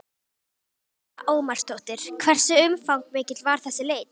Lára Ómarsdóttir: Hversu umfangsmikil var þessi leit?